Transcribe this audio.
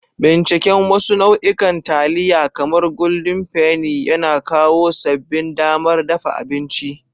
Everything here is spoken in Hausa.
Binciken wasu nau'ikan taliya, kamar Golden Penny, yana kawo sabbin damar dafa abinci.